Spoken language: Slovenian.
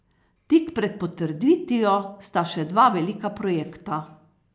Tik pred potrditvijo sta še dva velika projekta.